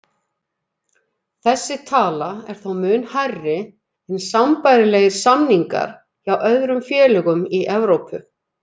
Þessi tala er þó mun hærri en sambærilegir samningar hjá öðrum félögum í Evrópu.